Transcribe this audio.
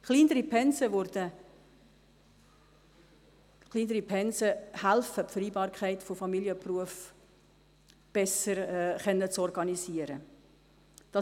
Kleinere Pensen helfen, die Vereinbarkeit von Familie und Beruf besser organisieren zu können.